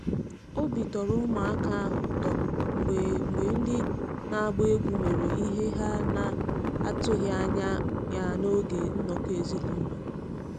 Obi tọrọ ụmụaka ahụ ụtọ mgbe mgbe ndị na-agba egwú mere ihe ha na atụghị anya ya n’oge nnọkọ ezinụlọ.